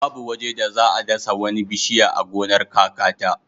Babu waje da za a dasa wani bishiya a gonar kakata.